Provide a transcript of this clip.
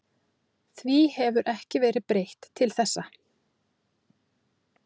Því hefur ekki verið breytt til þessa.